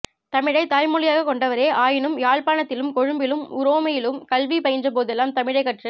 தமிழைத் தாய்மொழியாகக் கொண்டவரே ஆயினும் யாழ்ப்பாணத்திலும் கொழும்பிலும் உரோமையிலும் கல்வி பயின்றபோதெல்லாம் தமிழைக் கற்றுக்